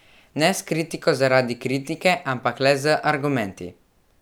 Ne s kritiko zaradi kritike, ampak le z argumenti.